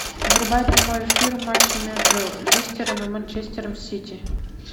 врубай прямой эфир матча между листером и манчестером сити